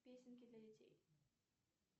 песенки для детей